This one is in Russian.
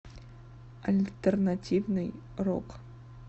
альтернативный рок